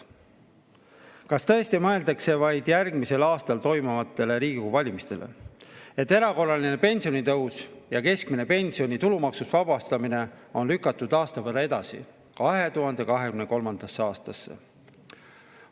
Kas tõesti mõeldakse vaid järgmisel aastal toimuvatele Riigikogu valimistele, et erakorraline pensionitõus ja keskmise pensioni tulumaksust vabastamine on lükatud aasta võrra edasi, 2023. aastasse?